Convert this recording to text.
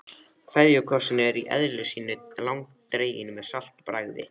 KVEÐJUKOSSINN er í eðli sínu langdreginn með saltbragði.